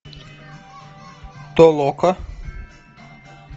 толока